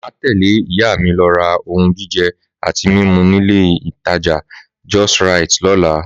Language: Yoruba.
Màá tẹ̀lé ìyá mi lọ ra ohun jíjẹ àti mímu nílé ìtajà Just Rite lọ́la